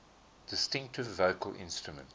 distinctive vocal instrument